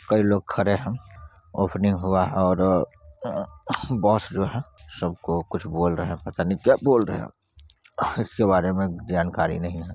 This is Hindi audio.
कई लोग खड़े है ओपनिंग हुआ और अ बॉस जो है सब को कुछ बोल रहे है पता नै क्या बोल रहे है इसके बारे मैं जानकारी नयी है ।